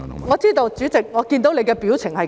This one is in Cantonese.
我知道，主席，我看到你的表情便知。